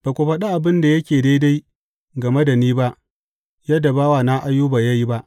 Ba ku faɗi abin da yake daidai game da ni ba yadda bawana Ayuba ya yi ba.